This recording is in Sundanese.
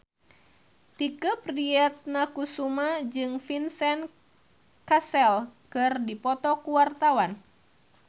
Tike Priatnakusuma jeung Vincent Cassel keur dipoto ku wartawan